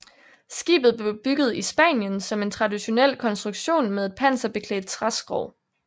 Skibet blev bygget i Spanien som en traditionel konstruktion med et panserbeklædt træskrog